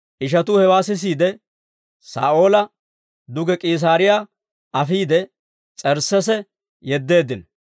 Ishatuu hewaa sisiide, Saa'oola duge K'iisaariyaa afiide, S'ersseese yeddeeddino.